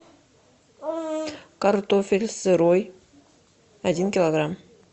картофель сырой один килограмм